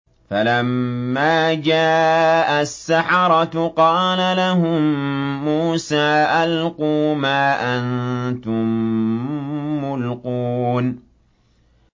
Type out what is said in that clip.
فَلَمَّا جَاءَ السَّحَرَةُ قَالَ لَهُم مُّوسَىٰ أَلْقُوا مَا أَنتُم مُّلْقُونَ